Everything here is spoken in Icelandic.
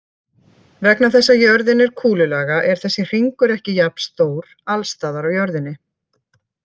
Vegna þess að jörðin er kúlulaga er þessi hringur ekki jafnstór alls staðar á jörðinni.